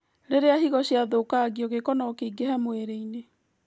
Rĩrĩa higo ciathũkangio, gĩko nokĩingĩhe mwĩrĩ-inĩ